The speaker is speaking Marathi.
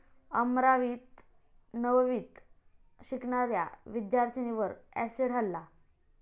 अमरावीत नववीत शिकणाऱ्या विद्यार्थिनीवर अॅसिड हल्ला